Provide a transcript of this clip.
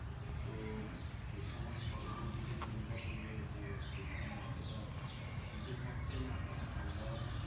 তো সেই সময় শরৎের দিকে চিন্তা করলে যে ঐ সময় অতটা শীতও থাকছেনা বা ঠান্ডাও থাকছে